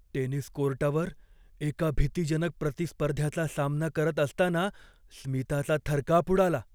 Tennis कोर्टावर एका भीतीजनक प्रतिस्पर्ध्याचा सामना करत असताना स्मिताचा थरकाप उडाला.